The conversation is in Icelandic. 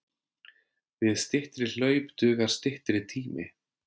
Við styttri hlaup dugar styttri tími.